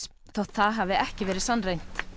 þótt það hafi ekki verið sannreynt